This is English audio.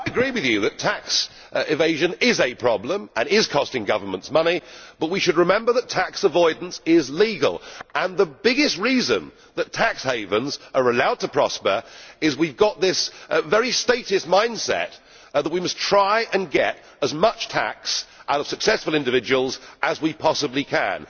I agree with you that tax evasion is a problem and is costing governments money, but we should remember that tax avoidance is legal. The biggest reason that tax havens are allowed to prosper is that we have got this very statist mindset that we must try to get as much tax out of successful individuals as we possibly can.